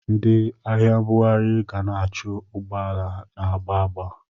Ndị ahịa mbughari ga na-achụ ụgbọala na-agba agba.